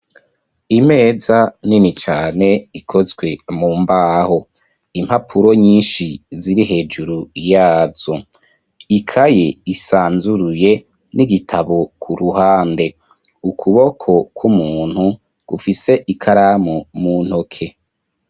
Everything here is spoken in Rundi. Imeza nini cane ikozwe mu mbaho impapuro nyinshi ziri hejuru yazo, ikaye isanzuruye n'igitabo ku ruhande, ukuboko kw'umuntu gufise ikaramu mu ntoke.